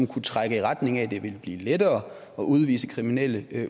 kunne trække i retning af at det ville blive lettere at udvise kriminelle